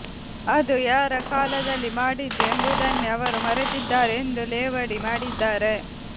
ಅದು ಯಾರ ಕಾಲದಲ್ಲಿ ಮಾಡಿದ್ದು ಎಂಬುದನ್ನೇ ಅವರು ಮರೆತಿದ್ದಾರೆ ಎಂದು ಲೇವಡಿ ಮಾಡಿದ್ದಾರೆ